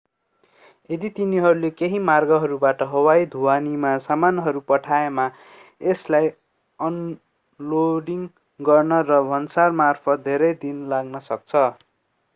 यदि तिनीहरूले केही मार्गहरूबाट हवाई ढुवानीमा सामानहरू पठाएमा यसलाई अनलोडिङ गर्न र भन्सारमार्फत धेरै दिन लाग्न सक्छ